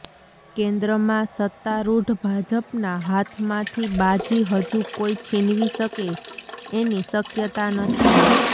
કેન્દ્રમાં સત્તારૂઢ ભાજપના હાથમાંથી બાજી હજુ કોઈ છીનવી શકે એની શક્યતા નથી